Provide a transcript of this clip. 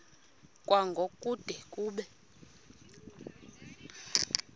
kwango kude kube